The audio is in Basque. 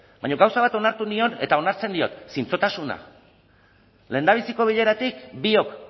baina gauza bat onartu nion eta onartzen diot zintzotasuna lehendabiziko bileratik biok